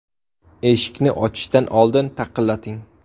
Eshikni ochishdan oldin taqillating!.